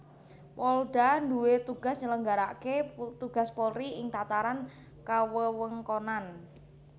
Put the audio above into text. Polda duwé tugas nyelenggarakaké tugas Polri ing tataran kawewengkonan